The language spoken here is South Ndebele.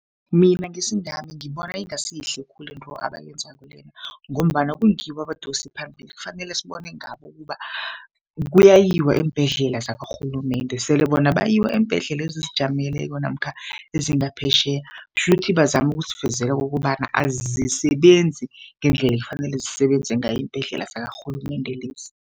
Mina ngesingami ngibona ingasi yihle khulu into abayenzako lena, ngombana kungibo abadosiphambili. Kufanele sibone ngabo ukuba kuyayiwa eembhedlela zakarhulumende. Sele bona bayiwa eembhedlela ezizijameleko namkha ezingaphetjheya, kutjhukuthi bazama ukusivezela okobana azisebenzi ngendlela ekufanele zisebenze ngayo iimbhedlela zakarhulumende lezi.